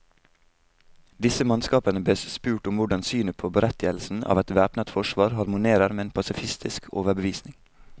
Disse mannskapene bes spurt om hvordan synet på berettigelsen av et væpnet forsvar harmonerer med en pasifistisk overbevisning.